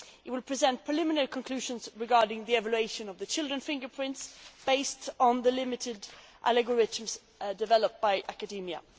It will present preliminary conclusions regarding the evolution of children's fingerprints based on limited algorithms developed by academia.